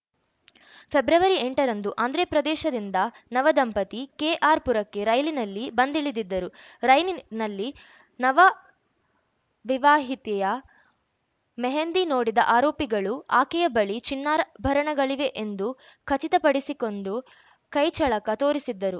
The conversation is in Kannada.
ಫೆಬ್ರವರಿ ಎಂಟರಂದು ಆಂಧ್ರಪ್ರದೇಶದಿಂದ ನವ ದಂಪತಿ ಕೆಆರ್‌ಪುರಕ್ಕೆ ರೈಲಿನಲ್ಲಿ ಬಂದಿಳಿದಿದ್ದರು ರೈಲಿನಲ್ಲಿ ನವ ವಿವಾಹಿತೆಯ ಮೆಹಂದಿ ನೋಡಿದ ಆರೋಪಿಗಳು ಆಕೆಯ ಬಳಿ ಚಿನ್ನಾರ್ ಭಣಗಳಿವೆ ಎಂದು ಖಚಿತಪಡಿಸಿಕೊಂಡು ಕೈ ಚಳಕ ತೋರಿಸಿದ್ದರು